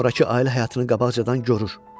Sonrakı ailə həyatını qabaqcadan görür.